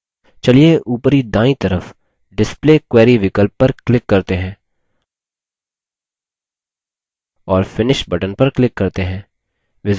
चलिए उपरी दायीं तरफ display query विकल्प पर click करते हैं और finish button पर click करते हैं